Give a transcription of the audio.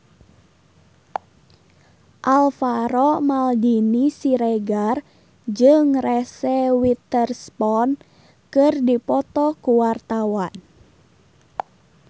Alvaro Maldini Siregar jeung Reese Witherspoon keur dipoto ku wartawan